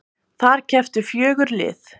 Þar kepptu fjögur lið